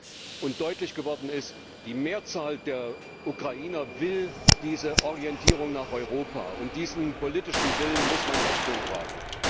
Klar ist und das ist deutlich geworden Die Mehrzahl der Ukrainer will diese Orientierung nach Europa, und diesem politischen Willen muss man Rechnung tragen.